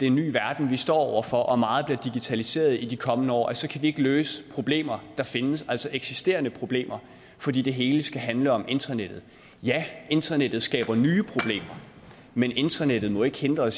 en ny verden vi står over for og meget bliver digitaliseret i de kommende år så kan vi ikke løse problemer der findes altså eksisterende problemer fordi det hele skal handle om internettet ja internettet skaber nye problemer men internettet må ikke hindre